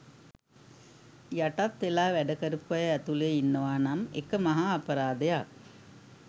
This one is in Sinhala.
යටත් වෙලා වැඩ කරපු අය ඇතුලේ ඉන්නවා නම් එක මහා අපරාධයක්.